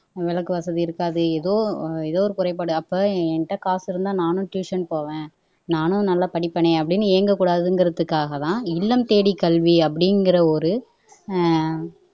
விளக்கு வசதி இருக்காது எதோ எதோ ஒரு குறைபாடு அப்ப என்கிட்ட காசு இருந்தா நானும் ட்யூசன் போவேன் நானும் நல்லா படிப்பேனே அப்படின்னு ஏங்ககூடாதுங்கிறதுக்காகத்தான் இல்லம்தேடி கல்வி அப்படிங்கிற ஒரு அஹ்